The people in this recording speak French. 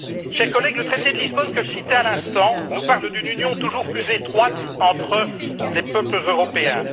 Chers collègues, le traité de Lisbonne, que je citais à l'instant, nous parle d'une union toujours plus étroite entre les peuples européens.